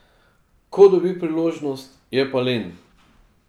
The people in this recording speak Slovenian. Ko dobi priložnost, je pa len.